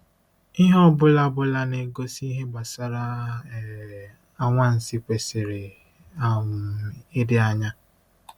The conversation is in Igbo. Ihe ọ bụla bụla na-egosi ihe gbasara um anwansi kwesịrị um ịdị anya.